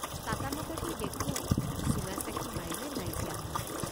চাতামাতাকৈ দেখোঁ চুঙাচাকি মাৰিলে নাইকিয়া হয়।